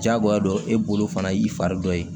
Jagoya dɔ e bolo fana y'i fari dɔ ye